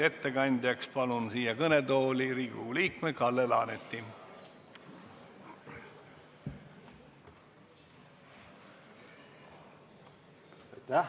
Ettekandjaks palun siia kõnetooli Riigikogu liikme Kalle Laaneti!